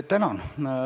Tänan!